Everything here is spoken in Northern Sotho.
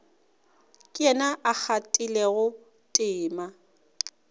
ke yena a kgathilego tema